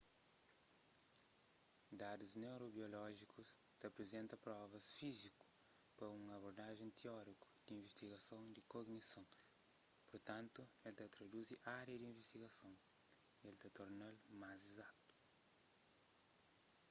dadus neurobiolójikus ta aprizenta provas fíziku pa un abordajen tióriku di invistigason di kognison purtantu el ta riduzi ária di invistigason y el ta torna-l más izatu